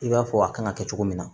I b'a fɔ a kan ŋa kɛ cogo min na